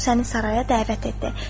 O səni saraya dəvət etdi.